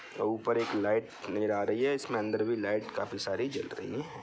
ऊपर एक लाइट नज़र आ रही है इसमें अंदर भी लाइट काफी सारी जल रही हैं।